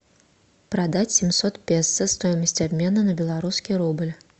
продать семьсот песо стоимость обмена на белорусский рубль